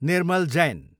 Nirmal Jain